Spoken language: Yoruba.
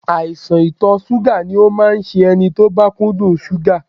Àìsàn ìtọ̀ ṣúgà ni ó máa ń ṣe ẹni tó bá kúndùn ṣúgà